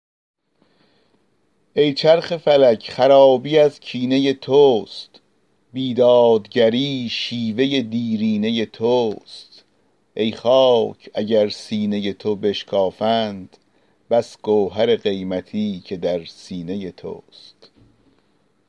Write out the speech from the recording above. ای چرخ فلک خرابی از کینه توست بی دادگری شیوه دیرینه توست ای خاک اگر سینه تو بشکافند بس گوهر قیمتی که در سینه توست